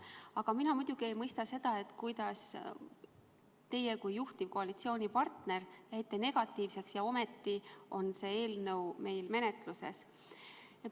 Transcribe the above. Aga muidugi ei mõista ma seda, et kuigi teie kui juhtiv koalitsioonipartner olite negatiivsel seisukohal, on see eelnõu ometi meil menetluses.